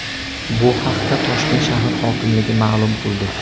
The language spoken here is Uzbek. Bu haqda Toshkent shahar hokimligi ma’lum qildi .